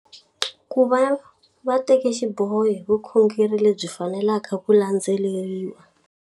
Ku va va teka xiboho hi vukhongeri lebyi faneleke ku landzelerisiwa.